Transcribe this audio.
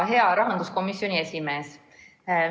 Hea rahanduskomisjoni esimees!